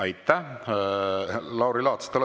Aitäh, Lauri Laats!